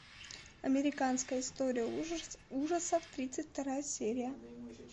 американская история ужасов тридцать вторая серия